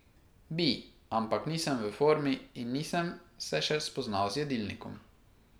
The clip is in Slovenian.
Bi, ampak nisem v formi in nisem se še spoznal z jedilnikom.